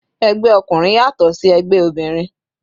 Ẹgbẹ́ ọkùnrin yàtọ̀ sí ẹgbẹ́ obìnrin.